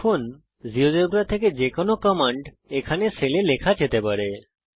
এখন জীয়োজেব্রা থেকে যে কোনো কমান্ড এখানে সেল এ লেখা যেতে পারে